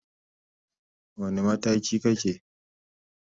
Wane mataki kake?